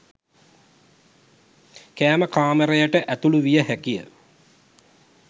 කෑම කාමරයට ඇතුළු විය හැකිය.